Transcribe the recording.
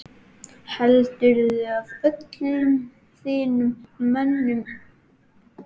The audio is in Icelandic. Heldurðu öllum þínum mönnum?